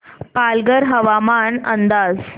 पालघर हवामान अंदाज